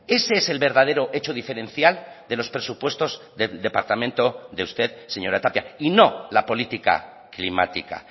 ese es el verdadero hecho diferencial de los presupuestos del departamento de usted señora tapia y no la política climática